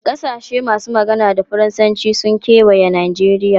Kasashe masu magana da Faransanci sun kewaye Najeriya.